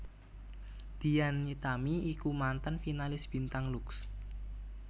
Dian Nitami iku mantan finalis bintang Lux